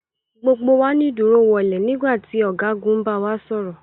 Gbogbo wa ni dúró wọnle nígbà tí ọ̀gágun ń bawa sọ̀rọ̀.